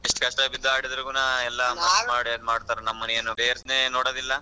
ಎಷ್ಟ್ ಕಷ್ಟ ಬಿದ್ದು ಆಡಿದ್ರೂನು ನಮ್ಮ ಏನ್ players ನೇ ನೋಡೊದಿಲ್ಲ.